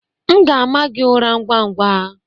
M ga-ama gị ụra ngwa ngwa.